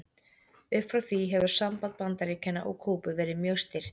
Upp frá því hefur samband Bandaríkjanna og Kúbu verið mjög stirt.